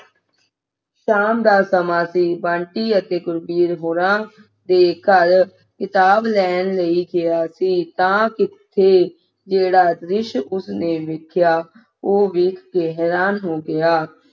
ਸ਼ਾਮ ਦਾ ਸਮਾਂ ਸੀ ਬੰਟੀ ਅਤੇ ਗੁਰਬੀਰ ਗੋਰਾ ਦੇ ਘਰ ਖਿਤਾਬ ਲੈਣ ਲਈ ਲੈਣ ਲਈ ਗਿਆ ਸੀ ਤਾਂ ਤੇ ਜਿਹੜਾ ਦ੍ਰਿਸ਼ ਉਸ ਨੇ ਵੇਖਿਆ ਉਹ ਵੇਖ ਕੇ ਹੈਰਾਨ ਰਹਿ ਗਿਆ